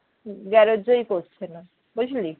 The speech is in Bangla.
গ্যারেজই করছে না বুঝলি